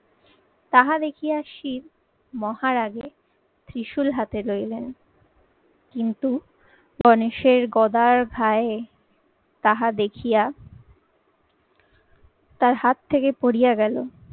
তাহা দেখিয়া শিব মহারাগে ত্রিশূল হাতে ধরিলেন কিন্তু গনেশের গদার ভাড়ে তাহা দেখিয়া তার হাত থেকে পড়িয়া গেলো।